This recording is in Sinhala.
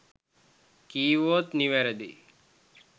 කිව්වොත් නිවැරදි